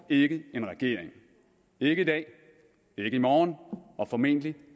ikke en regering ikke i dag ikke i morgen og formentlig